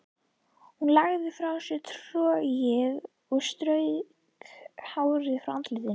Hún lagði frá sér trogið og strauk hárið frá andlitinu.